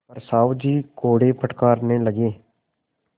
पर साहु जी कोड़े फटकारने लगे